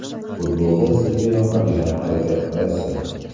Futbolda sizga yoqadigan harakat qaysi?